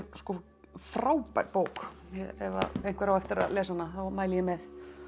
frábær bók ef einhver á eftir að lesa hana þá mæli ég með